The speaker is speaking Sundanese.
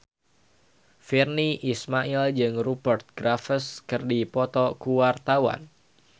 Virnie Ismail jeung Rupert Graves keur dipoto ku wartawan